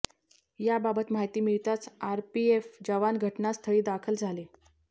याबाबत माहिती मिळताच आरपीएफ जवान घटनास्थळी दाखल झाले